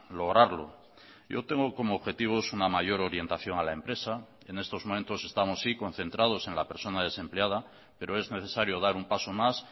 lograrlo yo tengo como objetivos una mayor orientación a la empresa en estos momentos estamos sí concentrados en la persona desempleada pero es necesario dar un paso más